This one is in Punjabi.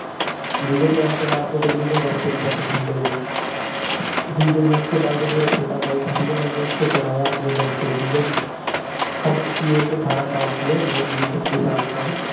ਠੀਕ ਹੈ ਜੀ। ਐਤਵਾਰ ਕੇ ਦਿਨ ਵੀ ਮੇਂ ਘਰ ਪੇ ਨਹੀਂ ਰਹਿਤਾ ਥਾ, sunday ਕੋ। ਠੀਕ ਐ ਜੀ। ਉਸਕੇ ਬਾਅਦ ਜੋ ਮੇਰਾ ਛੋਟਾ ਬਾਈ ਥਾ, ਮੈਂਨੇ ਉਸਕੋ ਪੜਾਇਆ, ਆਪਣੇ ਦਮ ਪਰ, ਠੀਕ ਹੈ ਜੀ। ਅਬ ਉਸਕੀ age ਅਠਾਰਾਂ ਸਾਲ ਕੀ ਹੈ, ਮੈਂ ਵੀਸ- ਇਕੀਸ ਸਾਲ ਕਾ ਹੂੰ।